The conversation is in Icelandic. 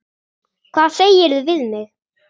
Hvað segirðu við mig?